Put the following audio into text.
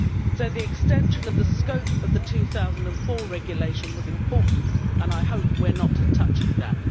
So the extension of the scope of the 2004 Regulation was important, and I hope we are not touching that.